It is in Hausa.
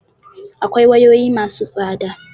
Akwai wayoyi ma su tsada